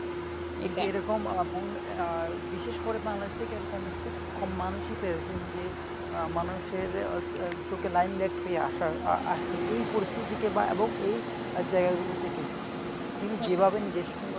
এই যে এরকম আহ বিশেষ করে বাংলা দেশ থেকে এরকম খুব কম মানুষই পেরেছেন যে আহ মানুষের চোখে line jet হয়ে আসার আর এই পরিস্থিতিকে এবং এই জায়গাগুলো থেকে তিনি যেভাবে নিজের সঙ্গে,